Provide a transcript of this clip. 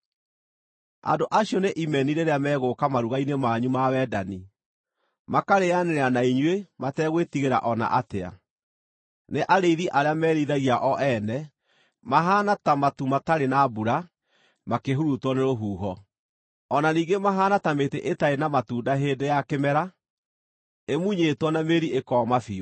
Andũ acio nĩ imeni rĩrĩa megũũka maruga-inĩ manyu ma wendani, makarĩanĩra na inyuĩ mategwĩtigĩra o na atĩa. Nĩ arĩithi arĩa merĩithagia o ene. Mahaana ta matu matarĩ na mbura, makĩhurutwo nĩ rũhuho; o na ningĩ mahaana ta mĩtĩ ĩtarĩ na matunda hĩndĩ ya kĩmera, ĩmunyĩĩtwo na mĩri ĩkooma biũ.